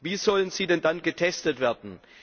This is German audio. Wie sollen sie denn dann getestet werden?